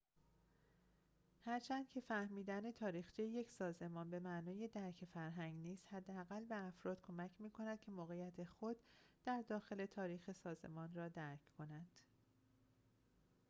هرچند که فهمیدن تاریخچه یک سازمان به معنای درک فرهنگ نیست حداقل به افراد کمک می کند که موقعیت خود در داخل تاریخ سازمان را درک کنند